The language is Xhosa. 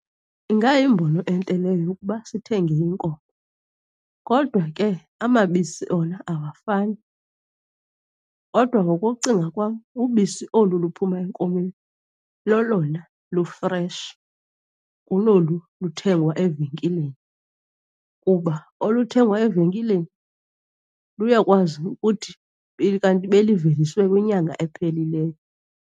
Ingayimbono entle leyo yokuba sithenge iinkomo. Kodwa ke amabisi wona awafani. Kodwa ngokokucinga kwam ubisi olu luphuma enkomeni lolona lufreshi kunolu luthengwa evenkileni, kuba oluthengwa evenkileni luyakwazi ukuthi kanti beliveliswe kwinyanga ephelileyo.